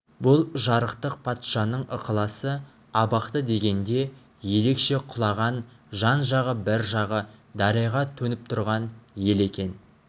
бұ жарықтық патшаның ықыласы абақты дегенде ерекше құлаған жан-жағы бір жағы дарияға төніп тұрған ел екен